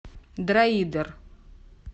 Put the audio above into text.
дроидер